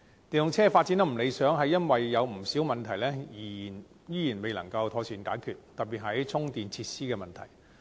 電動車發展不理想，是由於有不少問題仍然未能妥善解決，特別是充電設施的問題。